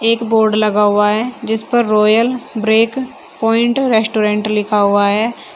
एक बोर्ड लगा हुआ है जिस पर रॉयल ब्रेक प्वाइंट रेस्टोरेंट लिखा हुआ है।